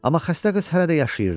Amma xəstə qız hələ də yaşayırdı.